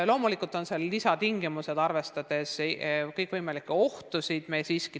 Loomulikult on ka lisatingimused, arvestades kõikvõimalikke ohtusid.